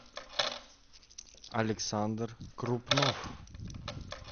александр крупнов